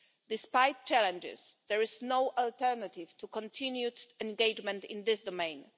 Despite challenges, there is no alternative to continued engagement in this domain.